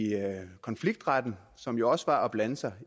konfliktretten og som jo også var at blande sig